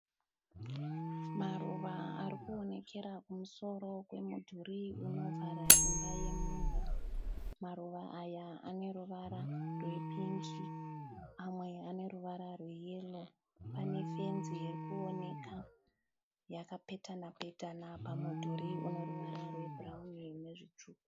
Maruva arikuonekera kumusoro kwemudhurí unovhara imba yemunhu. Maruva aya ane ruvara rwepingi mamwe ane ruvara rweyero. Pane fenzi irikuoneka yakapetana petana pamudhuri une ruvara rwebhuraunini nezvitsvuku.